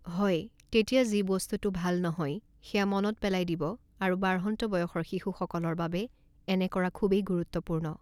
হয়, তেতিয়া যি বস্তুটো ভাল নহয় সেয়া মনত পেলাই দিব আৰু বাঢ়ন্ত বয়সৰ শিশুসকলৰ বাবে এনে কৰা খুবেই গুৰুত্বপূৰ্ণ।